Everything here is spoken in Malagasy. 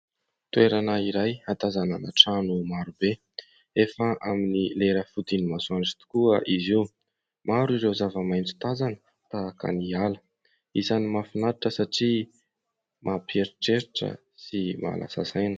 Toerana iray ahatazanana trano maro be. Efa amin'ny lera fodian'ny masoandro tokoa izy io. Maro ireo zavamaitso tazana tahaka ny ala. Isany mahafinaritra satria mampiheritreritra sy mahalasa saina.